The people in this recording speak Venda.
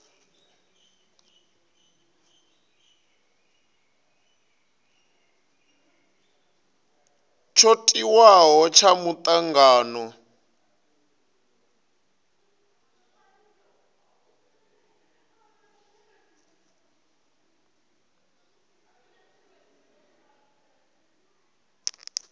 tsho tiwaho tsha mutangano tshi